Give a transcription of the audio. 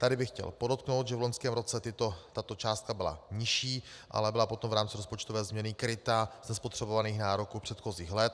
Tady bych chtěl podotknout, že v loňském roce tato částka byla nižší, ale byla potom v rámci rozpočtové změny kryta z nespotřebovaných nároků předchozích let.